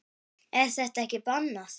Er það ekki bannað?